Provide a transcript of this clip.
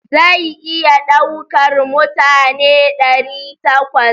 Zai iya ɗaukar mutane ɗari takwas.